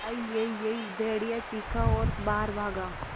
अईयईयई भेड़िया चीखा और बाहर भागा